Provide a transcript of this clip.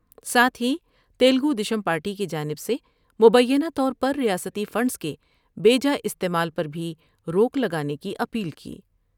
ساتھ ہی تلگو دیشم پارٹی کی جانب سے مبینہ طور پر ریاستی فنڈس کے بے جا استعمال پر بھی روک لگانے کی اپیل کی ۔